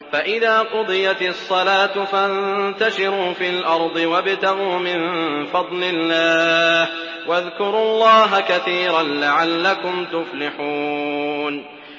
فَإِذَا قُضِيَتِ الصَّلَاةُ فَانتَشِرُوا فِي الْأَرْضِ وَابْتَغُوا مِن فَضْلِ اللَّهِ وَاذْكُرُوا اللَّهَ كَثِيرًا لَّعَلَّكُمْ تُفْلِحُونَ